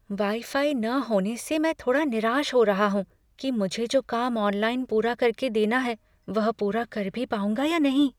"Wi fi न होने से मैं थोड़ा निराश हो रहा हूँ कि मुझे जो काम ऑनलाइन पूरा करके देना है वह पूरा कर भी पाऊँगा या नहीं।"